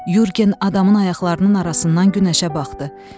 Yorqen adamın ayaqlarının arasından günəşə baxdı.